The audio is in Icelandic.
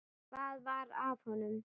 Hvað var að honum?